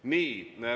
Nii.